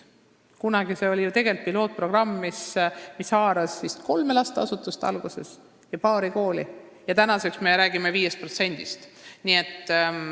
Kunagi oli see pilootprogramm, mis alguses haaras vist kolme lasteasutust ja paari kooli, praegu me räägime 5%-st.